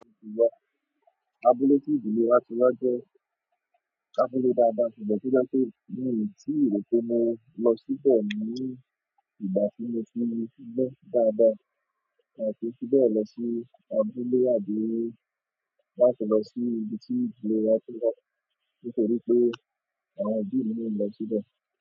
Abúlé tí ìdílé wa ti wá jẹ́ abúlé dáadáa, ṣùgbọ́n tó dá pé mi ò tíì rò pé mo lọ síbẹ̀ ní ìgbà tí mo ti mu síbẹ̀ dáadáa, a kí n fi bẹ́ẹ̀ lọ sí abúlé àbí láti lọ sí ibi tí ìlú wa ti wá nítorí pé àwọn òbí mi náà ò kí ń lọ síbẹ̀.